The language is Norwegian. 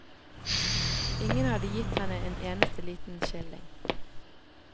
Ingen hadde gitt henne en eneste liten skilling.